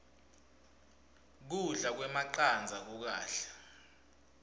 kudla kwemacandza kukahle